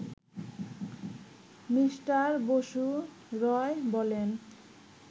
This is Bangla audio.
মিস্টার বসু রয় বলেন